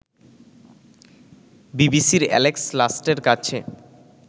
বিবিসির এ্যালেক্স লাস্টের কাছে